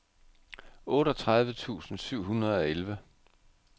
otteogtredive tusind syv hundrede og elleve